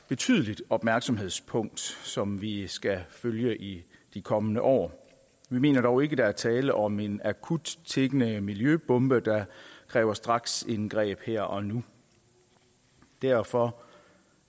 betydeligt opmærksomhedspunkt som vi skal følge i de kommende år vi mener dog ikke der er tale om en akut tikkende miljøbombe der kræver straksindgreb her og nu derfor